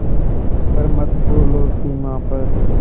पर मत भूलो सीमा पर